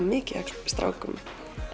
mikið af strákum